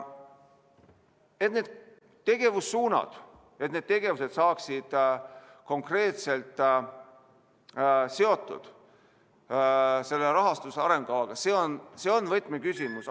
Et need tegevussuunad, et need tegevused saaksid konkreetselt seotud selle rahastus- ja arengukavaga, see on võtmeküsimus.